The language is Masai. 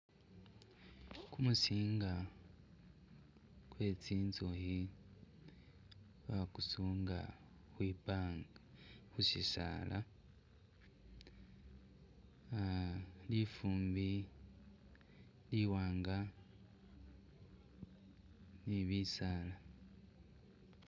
Kumuzinga kwetsinzuhi bakusunga kwibanga khusisala -a lifumbi liwanga nibisala